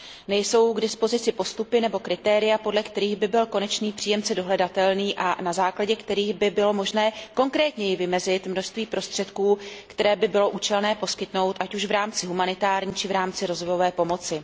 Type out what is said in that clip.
Nejsou k dispozici postupy nebo kritéria, podle kterých by byl konečný příjemce dohledatelný a na základě kterých by bylo možné konkrétněji vymezit množství prostředků, které by bylo účelné poskytnout, ať už v rámci humanitární či v rámci rozvojové pomoci.